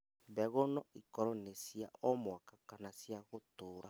Mbegũ noikorwo nĩ cia o mwaka kana cia gũtũra